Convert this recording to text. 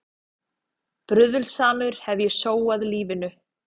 Bruðlsamur hef ég sóað lífinu.